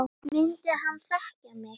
Myndi hann þekkja mig?